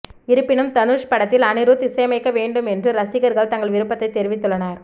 இருப்பினும் தனுஷ் படத்தில் அனிருத் இசையமைக்க வேண்டும் என்று ரசிகர்கள் தங்கள் விருப்பத்தை தெரிவித்துள்ளனர்